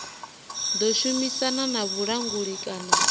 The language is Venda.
ḓo shumisana na vhulanguli kana